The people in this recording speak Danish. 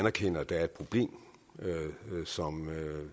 anerkender at der er et problem